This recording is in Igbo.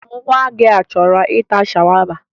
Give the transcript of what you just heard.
Nwa gị a chọrọ ịta shawama?